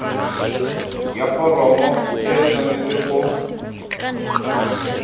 ya foromo e tshwanetse go